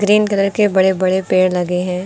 Green colour के बड़े बड़े पेड़ लगे हैं।